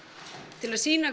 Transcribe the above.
til að sýna